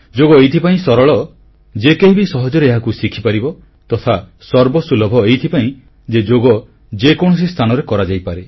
ଯୋଗ ଏଥିପାଇଁ ସରଳ ଯେ କେହି ବି ସହଜରେ ଏହାକୁ ଶିଖିପାରିବ ତଥା ସର୍ବସୁଲଭ ଏଥିପାଇଁ ଯେ ଯୋଗ ଯେକୌଣସି ସ୍ଥାନରେ କରାଯାଇପାରେ